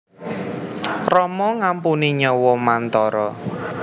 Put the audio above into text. Rama ngampuni nyawa Mantara